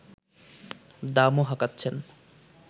দামও হাঁকাচ্ছেন